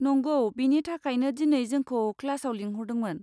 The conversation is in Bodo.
नंगौ, बेनि थाखायनो दिनै जोंखौ क्लासआव लिंहरदोंमोन।